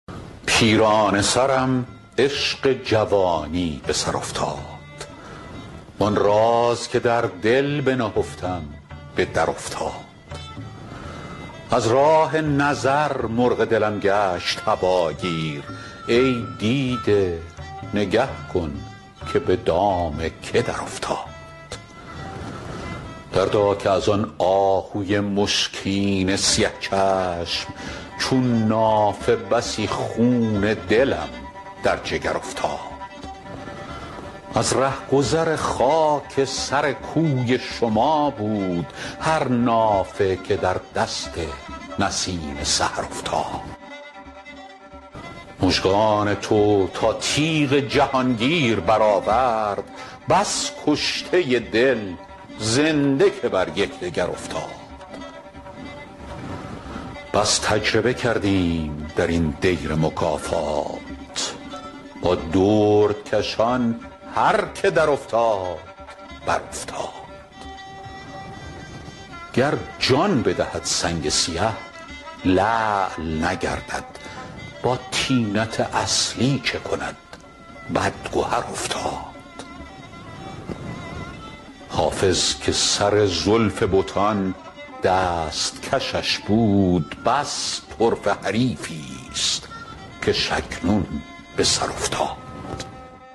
پیرانه سرم عشق جوانی به سر افتاد وآن راز که در دل بنهفتم به درافتاد از راه نظر مرغ دلم گشت هواگیر ای دیده نگه کن که به دام که درافتاد دردا که از آن آهوی مشکین سیه چشم چون نافه بسی خون دلم در جگر افتاد از رهگذر خاک سر کوی شما بود هر نافه که در دست نسیم سحر افتاد مژگان تو تا تیغ جهانگیر برآورد بس کشته دل زنده که بر یکدگر افتاد بس تجربه کردیم در این دیر مکافات با دردکشان هر که درافتاد برافتاد گر جان بدهد سنگ سیه لعل نگردد با طینت اصلی چه کند بدگهر افتاد حافظ که سر زلف بتان دست کشش بود بس طرفه حریفی ست کش اکنون به سر افتاد